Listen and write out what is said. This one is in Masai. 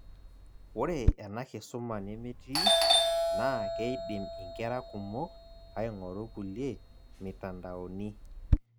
Ore ena kisuma nemetii, naa keidim inkera kumok aing'oru kulie mitandaoni